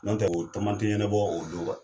N' tɛ o tamatɛ ɲɛnɛbɔ o don